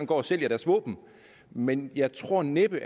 gå og sælge deres våben men jeg tror næppe